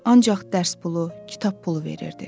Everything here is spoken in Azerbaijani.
Ancaq dərs pulu, kitab pulu verirdi.